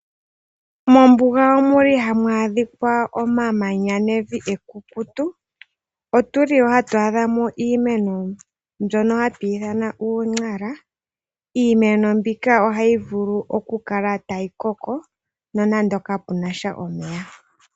Moombuga omuli hamu adhika omamanya nevi ekukutu otuli woo hatu adha mo iimeno mbyoo hatuyi ithana uu !Nara, iimeno mbika ohayi vulu oku kala tayi koko nonande kapena sha omeya.